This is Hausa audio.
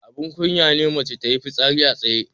Abun kunya ne mace tayi fitsari a tsaye.